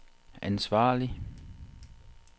ansvarlig